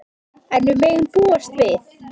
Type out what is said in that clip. En við megum búast við.